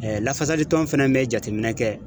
lafasalikɛla fana bɛ jateminɛ kɛ